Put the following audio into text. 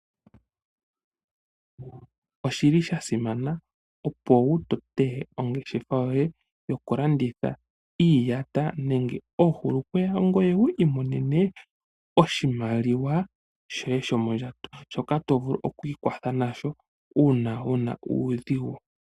Oshili sha simana opo wu tote ongeshefa yoye yoku landitha iiyata nenge oohulukweya ngoye wu imonene oshimaliwa shoye shomondjato, shoka to vulu okwii kwatha nasho uuna wu na uudhigu.